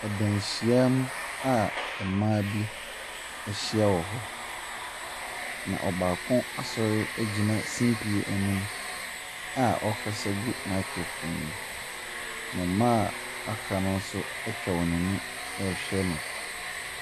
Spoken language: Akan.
Danhyiamu a mma bi ahyia wɔ hɔ. Na ɔbaako asɔre agyina simpie anim a ɔrekasa gu microphone mu. Wɔn a aka no atwa wɔn ani rehwɛ no.